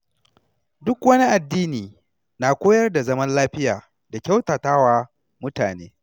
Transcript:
Duk wani addini na koyar da zaman lafiya da kyautata wa mutane.